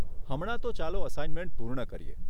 હમણાં તો ચાલો અસાઇનમેન્ટ પૂર્ણ કરીએ.